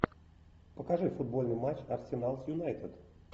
покажи футбольный матч арсенал с юнайтед